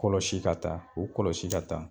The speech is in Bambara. Kɔlɔsi ka taa u kɔlɔsi ka taa.